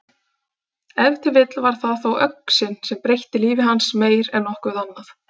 Ef til vill var það þó öxin sem breytti lífi hans meir en nokkuð annað.